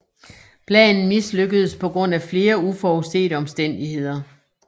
Planen mislykkedes på grund af flere uforudsete omstændigheder